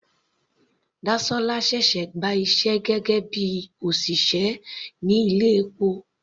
Dasola ṣẹ̀ṣẹ̀ gba iṣẹ́ gẹ́gẹ́ bíi òṣìṣẹ́ ní ilé epo.